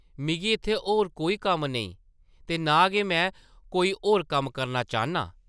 मिगी इत्थै होर कोई कम्म नेईं ते नां गै में कोई होर कम्म करना चाह्न्नां!